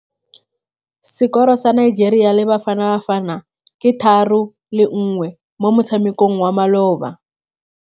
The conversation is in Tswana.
Sekôrô sa Nigeria le Bafanabafana ke 3-1 mo motshamekong wa malôba.